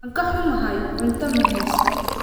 Waan ka xumahay, cunto ma haysto